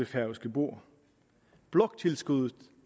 kan gå ud